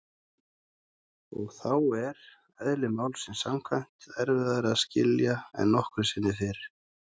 Og þá er- eðli málsins samkvæmt- erfiðara að skilja en nokkru sinni fyrr.